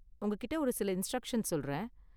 உங்ககிட்ட ஒரு சில இன்ஸ்ட்ரக்ஷன் சொல்றேன்.